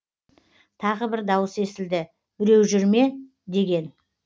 тағы бір дауыс естілді біреу жүр ме деген